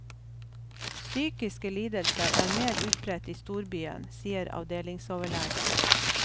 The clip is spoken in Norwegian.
Psykiske lidelser er mer utbredt i storbyen, sier avdelingsoverlegen.